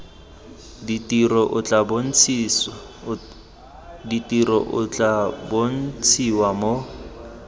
ditiro o tla bontshiwa mo